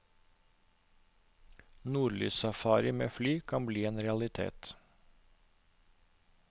Nordlyssafari med fly kan bli en realitet.